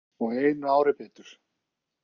Hann var helmingi eldri og einu ári betur.